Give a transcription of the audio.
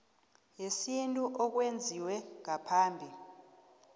yesintu okwenziwe ngaphambi